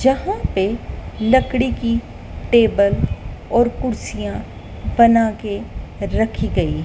यहां पे लकड़ी की टेबल और कुर्सियां बनाके रखी गई--